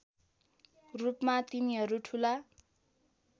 रूपमा तिनीहरू ठुला